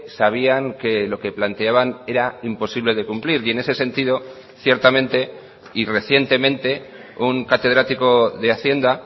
sabían que lo que planteaban era imposible de cumplir y en ese sentido ciertamente y recientemente un catedrático de hacienda